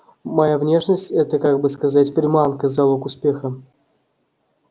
моя внешность это как бы сказать приманка залог успеха